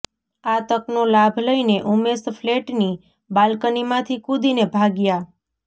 આ તકનો લાભ લઈને ઉમેશ ફ્લેટની બાલ્કનીમાંથી કૂદીને ભાગ્યા